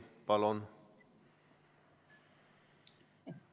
Palun!